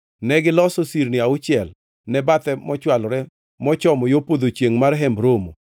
Negiloso sirni auchiel ne bathe mochwalore mochomo yo podho chiengʼ mar Hemb Romo,